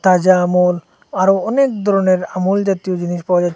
তাজা আমূল আরও অনেক ধরনের আমূল জাতীয় জিনিস পাওয়া যাচ্ছে।